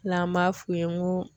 N'an b'a f'u ye n ko